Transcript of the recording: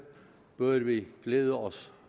bør vi glæde os